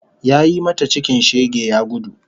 Yayi mata cikin shege ya gudu